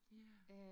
Ja